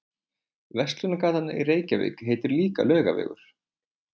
Verslunargatan í Reykjavík heitir líka Laugavegur.